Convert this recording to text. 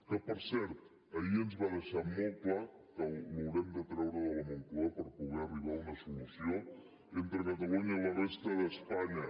que per cert ahir ens va deixar molt clar que l’haurem de treure de la moncloa per poder arribar a una solució entre catalunya i la resta d’espanya